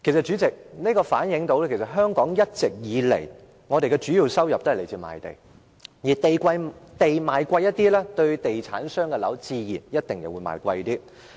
主席，這反映出香港一直以來的主要收入也來自賣地，土地賣貴一些，地產商所賣的樓宇自然也可以賣貴一些。